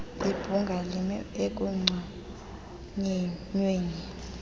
webhunga lime ekunconyweni